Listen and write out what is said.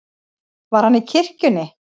Var hann í kirkjunni?